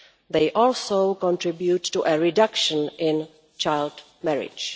They also contribute to a reduction in child marriage.